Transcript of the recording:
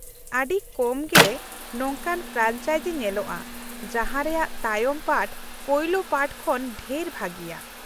ᱟᱹᱰᱤ ᱠᱚᱢ ᱜᱮ ᱱᱚᱝᱠᱟᱱ ᱯᱷᱨᱮᱱᱪᱟᱭᱡᱤ ᱧᱮᱞᱚᱜᱼᱟ ᱡᱟᱦᱟᱸ ᱨᱮᱭᱟᱜ ᱛᱟᱭᱚᱢ ᱯᱟᱨᱴ ᱯᱳᱭᱞᱳ ᱯᱟᱨᱴ ᱠᱷᱚᱱ ᱰᱷᱮᱨ ᱵᱷᱟᱹᱜᱤᱭᱟ ᱾